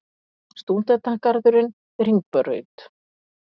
Stúdentagarðurinn við Hringbraut.